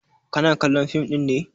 Kana kallon fim ɗin ne?